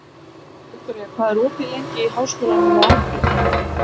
Viktoria, hvað er opið lengi í Háskólanum á Akureyri?